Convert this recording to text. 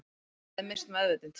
Hann hefði misst meðvitund